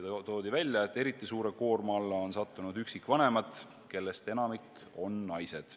Veel toodi välja, et eriti suure koorma alla on sattunud üksikvanemad, kellest enamik on naised.